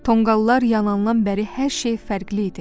Tonqallar yanandan bəri hər şey fərqli idi.